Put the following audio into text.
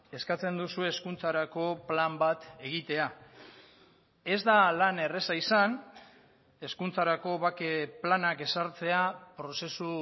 eskatzen duzue hezkuntzarako plan bat egitea ez da lan erraza izan hezkuntzarako bake planak ezartzea prozesu